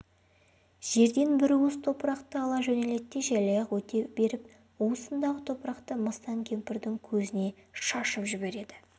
жерден бір уыс топырақты ала жөнеледі желаяқ өте беріп уысындағы топырақты мыстан кемпірдің көзіне шашып кетеді